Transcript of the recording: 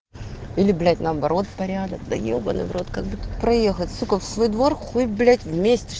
или блять наоборот порядок да ебанный в рот как бы тут проехать сука в свой двор хуй блять вместишь